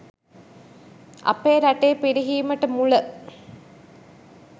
අපේ රටේ පිරිහීමට මුල